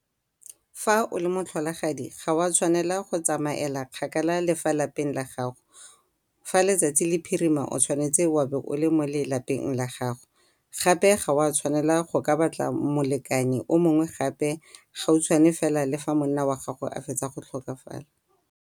Fa o le motlholagadi ga o a tshwanela go tsamaela kgakala le fa lapeng la gago. Fa letsatsi le phirima o tshwanetse wa bo o le mo lelapeng la gago. Gape ga o a tshwanela go ka batla molekane o mongwe gape gautshwane fela le fa monna wa gago a fetsa go tlhokafala.